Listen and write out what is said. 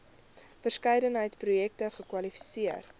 verskeidenheid projekte kwalifiseer